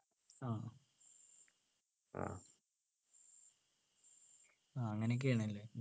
ആഹ് ആഹ് അങ്ങനെയൊക്കെ ആണ് അല്ലെ